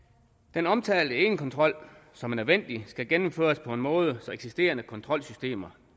den omtalte egenkontrol som er nødvendig skal gennemføres på en måde så eksisterende kontrolsystemer